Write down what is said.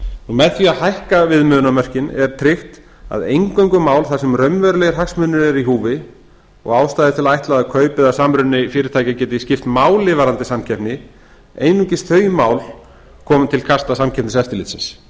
með því að hækka viðmiðunarmörkin er tryggt að eingöngu mál þar sem raunverulegir hagsmunir eru í húfi og ástæða til að ætla að kaup eða samruni fyrirtækis geti skipt máli varðandi samkeppni einungis þau mál komi til kasta samkeppniseftirlitsins